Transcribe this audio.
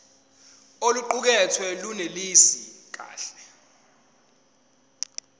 oluqukethwe lunelisi kahle